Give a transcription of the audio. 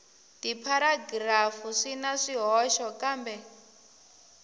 tipharagirafu swi na swihoxo kambe